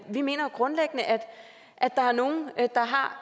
vi mener grundlæggende at der er nogle der har